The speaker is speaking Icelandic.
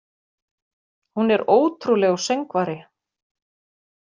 Hún er ótrúlegur söngvari.